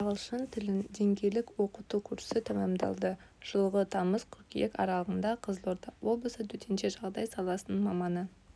ағылшын тілін деңгейлік оқыту курсы тәмамдалды жылғы тамыз қыркүйек аралығында қызылорда облысы төтенше жағдай саласының маманы